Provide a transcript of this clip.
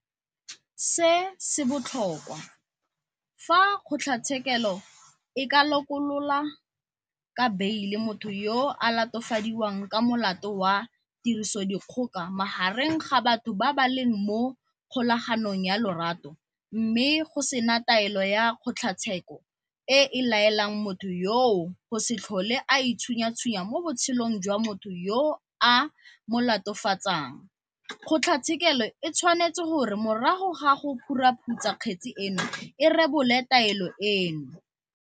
Se se botlhokwa, fa kgotlatshekelo e ka lokolola ka beile motho yo a latofadiwang ka molato wa tirisodikgoka magareng ga batho ba ba leng mo kgolaganong ya lorato mme go sena taelo ya kgotlatshekelo e e laelang motho yoo go se tlhole a itshunyatshunya mo botshelong jwa motho yo a mo latofatsang, kgotlatshekelo e tshwanetse gore morago ga go phuruphutsa kgetse eno e rebole taelo eno.